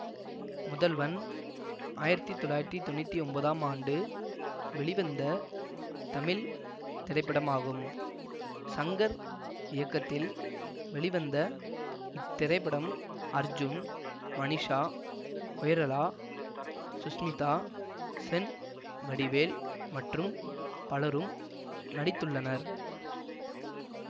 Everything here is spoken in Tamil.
முதல்வன் ஆயிரத்தி தொள்ளாயிரத்தி தொன்னூத்தி ஒன்பதாம் ஆண்டு வெளிவந்த தமிழ் திரைப்படமாகும் ஷங்கர் இயக்கத்தில் வெளிவந்த இத்திரைப்படத்தில் அர்ஜூன் மனிஷா கொய்ரலா சுஷ்மிதா சென் வடிவேல் மற்றும் பலரும் நடித்துள்ளனர்